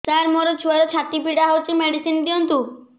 ସାର ମୋର ଛୁଆର ଛାତି ପୀଡା ହଉଚି ମେଡିସିନ ଦିଅନ୍ତୁ